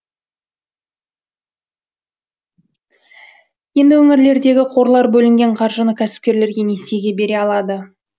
енді өңірлердегі қорлар бөлінген қаржыны кәсіпкерлерге несиеге бере алады